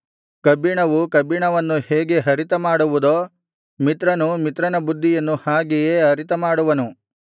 ಕಬ್ಬಿಣವು ಕಬ್ಬಿಣವನ್ನು ಹೇಗೆ ಹರಿತಮಾಡುವುದೋ ಮಿತ್ರನು ಮಿತ್ರನ ಬುದ್ಧಿಯನ್ನು ಹಾಗೆಯೇ ಹರಿತಮಾಡುವನು